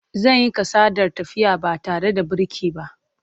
Zan yi kasadar tafiya ba tare da birki ba.